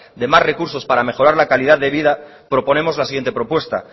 de más recursos para mejorar la calidad de vida proponemos la siguiente propuesta